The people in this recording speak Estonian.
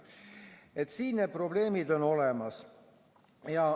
Nii et siin on probleemid olemas.